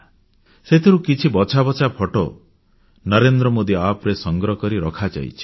ସେଥିରୁ କିଛି ବଛା ବଛା ଫଟୋ NarendraModiApp ରେ ସଂକଳିତ କରି ରଖାଯାଇଛି